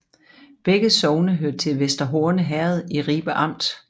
Begge sogne hørte til Vester Horne Herred i Ribe Amt